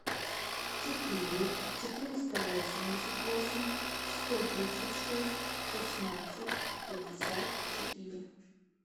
четыре четыреста восемьдесят восемь сто тридцать шесть шестнадцать пятьдесят четыре